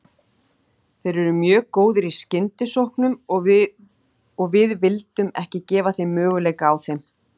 Þeir eru mjög góðir í skyndisóknum og við vildum ekki gefa þeim möguleika á þeim.